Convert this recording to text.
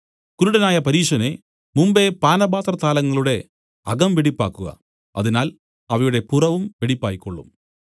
കുരുടനായ പരീശനേ മുമ്പെ പാനപാത്ര താലങ്ങളുടെ അകംവെടിപ്പാക്കുക അതിനാൽ അവയുടെ പുറവും വെടിപ്പായിക്കൊള്ളും